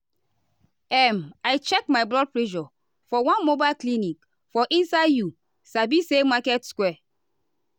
um i check my blood pressure for one mobile clinic for inside you sabi say market square.